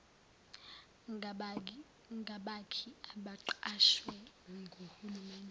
ngabakhi abaqashwe nguhulumeni